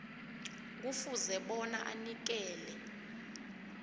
kufuze bona anikele